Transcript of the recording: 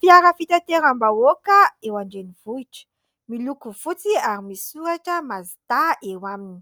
Fiara fitateram-bahoaka eo an-drenivohitra, miloko fotsy ary misy soratra : "Mazda " eo aminy,